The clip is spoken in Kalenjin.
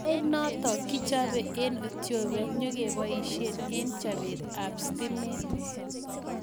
Ainonotok kichopee eng etiopia nyokepaishe eng chopet ap sitimet